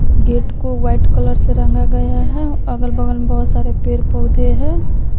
Gate को white colour से रंगा गया है अगल बगल में बहुत सारे पेड़ पौधे है।